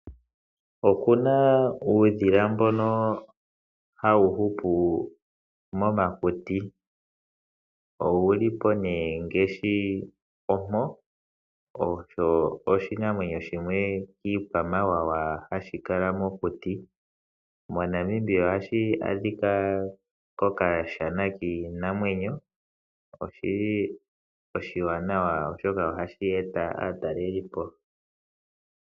Oku na uudhila mboka hawu hupu momakuti ngaashi ompo. Osho oshikwamawawa hashi kala mokuti. MoNamibia ohashi a dhika kokashana kiinamwenyo. Oshi li oshiwanawa oshoka ohashi eta aatelelipo moshilongo.